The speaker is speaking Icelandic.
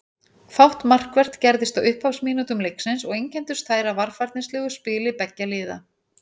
Fátt markvert gerðist á upphafsmínútum leiksins og einkenndust þær af varfærnislegu spili beggja liða.